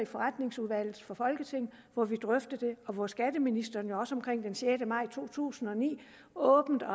forretningsordenen hvor vi drøftede det og skatteministeren også omkring den sjette maj to tusind og ni åbent og